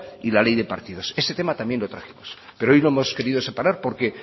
y la ley de partidos ese tema también lo trajimos pero hoy lo hemos querido separar porque